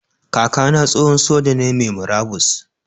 Kaka na tsohon soja ne mai murabus.